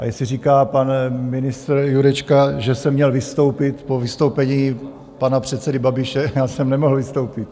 A jestli říká pan ministr Jurečka, že jsem měl vystoupit po vystoupení pana předsedy Babiše, já jsem nemohl vystoupit.